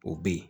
O be yen